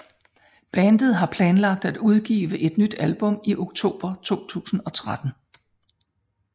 Bandet har planlagt at udgive et nyt album i oktober 2013